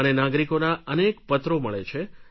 મને નાગરિકોના અનેક પત્રો મળે છે